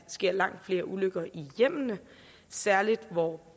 sker langt flere ulykker i hjemmene særlig hvor